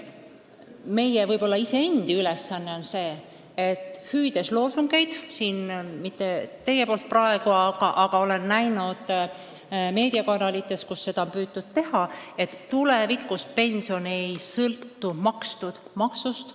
Meediakanalites on viimasel ajal püütud inimestele öelda, et tulevikus pension ei sõltu makstud maksust.